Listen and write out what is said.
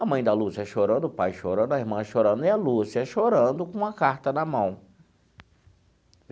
A mãe da Lúcia chorando, o pai chorando, a irmã chorando, e a Lúcia chorando com uma carta na mão.